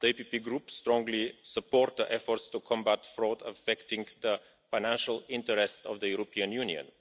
The PPE Group strongly supports the efforts to combat fraud affecting the financial interest of the European Union.